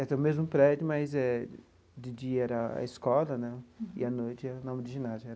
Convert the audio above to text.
É o mesmo prédio, mas eh de dia era a a escola né e à noite era o nome do ginásio.